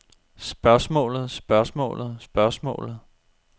spørgsmålet spørgsmålet spørgsmålet